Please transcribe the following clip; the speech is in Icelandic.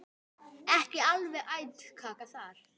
Ekki alveg æt kaka þar.